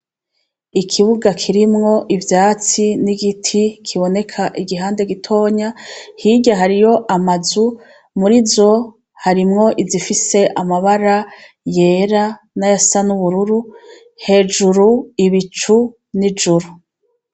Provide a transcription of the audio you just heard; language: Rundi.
Ikibuga kirimwo ivyatsi igiti kiboneka igihande gitonyi hirya hariho amazu murizo harimwo I zifise amabara yera nayafise ayubururu hejuru igicu n'juru.